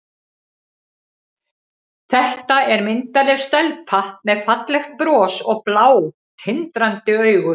Þetta er myndarleg stelpa með fallegt bros og blá, tindrandi augu.